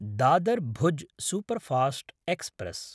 Dadar-Bhuj superfast express